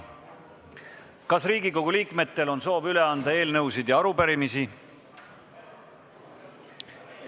Kas Riigikogu liikmetel on soovi üle anda eelnõusid ja arupärimisi?